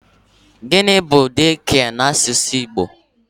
Gịnị bu 'daycare' n'asụsụ Igbo?